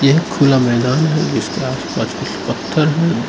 यह खुला मैदान है इसके आसपास कुछ पत्थर हैं।